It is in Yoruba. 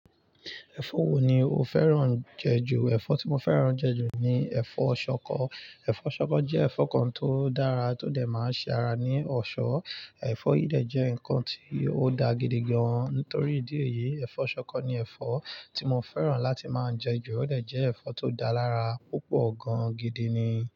Ẹ̀fọ́ wo ni o fẹ́ràn jẹ ju? Ẹ̀fọ́ tí mo fẹ́ràn jẹ ju ni ẹ̀fọ́ ṣọkọ. Ẹ̀fọ́ ṣọkọ jẹ́ ẹ̀fọ́ kan tó dára, tó dẹ̀ máa ń ṣe ara ní ọ̀ṣọ́. Ẹ̀fọ́ yìí dẹ̀ jẹ́ ǹnkan tí ó da gidi gan-an. Nítorí ìdí èyí, ẹ̀fọ́ ṣọkọ ni ẹ̀fọ́ tí mo fẹ́ràn láti máa ń jẹ ju. Ó dẹ̀ jẹ́ ẹ̀fọ́ tó dá lára púpọ̀ gan-an gidi ni.